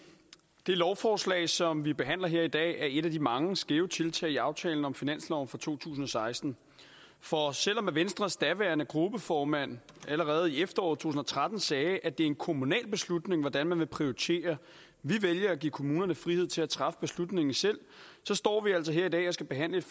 det lovforslag som vi behandler her i dag er et af de mange skæve tiltag i aftalen om finansloven for to tusind og seksten for selv om venstres daværende gruppeformand allerede i efteråret to tusind og tretten sagde at det er en kommunal beslutning hvordan man vil prioritere vi vælger at give kommunerne frihed til at træffe beslutningen selv så står vi altså her i dag og skal behandle